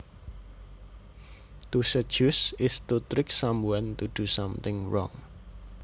To seduce is to trick someone to do something wrong